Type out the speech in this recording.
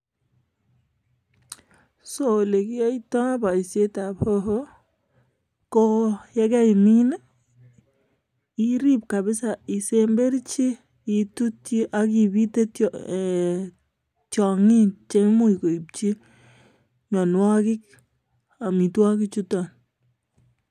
So olekiyoitoi boishietab hoho ko yekeimin iriib kabisa isemberchi, itutyii ak ibite koistogee tiong'iik cheimuchi koimchi mionwogiik amitwogik chuton.